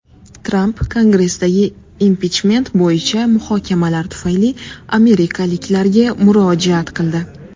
Tramp Kongressdagi impichment bo‘yicha muhokamalar tufayli amerikaliklarga murojaat qildi .